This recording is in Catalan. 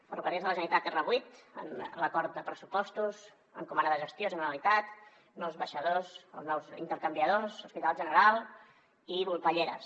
ferrocarrils de la generalitat r8 en l’acord de pressupostos encomana de gestió generalitat nous baixadors els nous intercanviadors hospital general i volpelleres